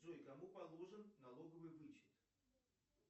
джой кому положен налоговый вычет